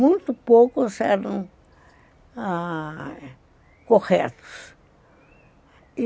Muito poucos eram corretos.